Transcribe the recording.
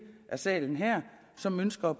af salen her som ønsker